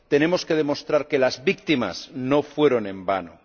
Tenemos que demostrar que las víctimas no fueron en vano.